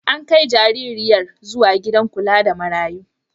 An kai jaririyar zuwa gidan kula da marayu.